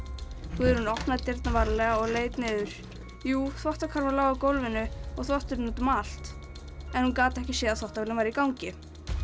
Guðrún opnaði dyrnar varlega og leit niður jú þvottakarfa lá á gólfinu og þvotturinn út um allt en hún gat ekki séð að þvottavélin væri í gangi